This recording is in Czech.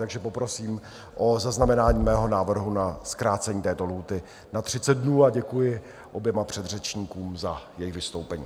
Takže poprosím o zaznamenání mého návrhu na zkrácení této lhůty na 30 dnů a děkuji oběma předřečníkům za jejich vystoupení.